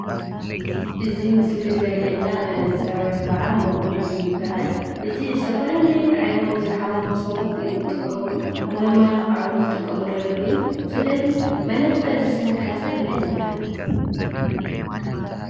እዚ ምስሊ ዘሪኤና መነፀር ወይከዓ መጉልሂ ይባሃል፡፡ እዚ ዝተፈላለዩ ዓይኖም ዝሓመሙ ሰባት እዮም ዝጥቀምሉ፡፡ ንመመላኽዒ ውን ዝጥቀምሉ ኣለው እዮም፡፡ ስለ እዚ መነፀር ዝሰርሐ ሰብ መን ይባሃል?